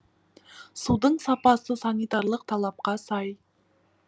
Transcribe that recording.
судың сапасы санитарлық талапқа сай